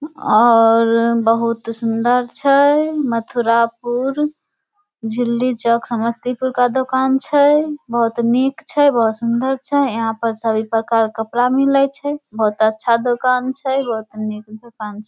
और बहुत सुन्दर छै मथुरापुर झिल्ली चौक समस्तीपुर का दुकान छै बहुत निक छै बहुत सुन्दर छै यहाँ पर सभी प्रकार के मिले छै बहुत अच्छा दुकान छै बहुत निक दुकान छै।